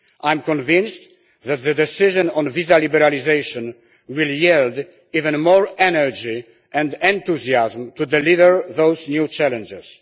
I am convinced that the decision on visa liberalisation will yield even more energy and enthusiasm to deliver on those new challenges.